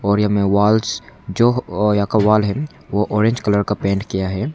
और या में वॉल्स जो अ यहां का वॉल है वह ऑरेंज कलर का पेंट किया है।